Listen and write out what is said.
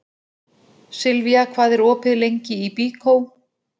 Silvía, hvað er opið lengi í Byko?